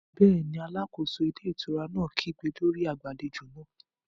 Bẹ́ẹ̀ni, alákóso ilé ìtura náà kígbe lórí agbàlejò náà